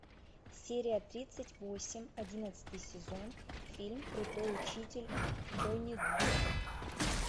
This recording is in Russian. серия тридцать восемь одиннадцатый сезон фильм крутой учитель онидзука